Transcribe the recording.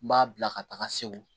N b'a bila ka taga segu